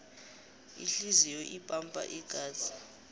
ihliziyo ipampa igazi